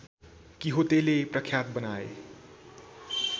किहोतेले प्रख्यात बनाए